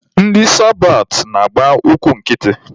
Ndị sabat na-agba ụkwụ nkịtị.